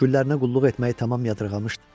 Güllərinə qulluq etməyi tamam yadından çıxarmışdı.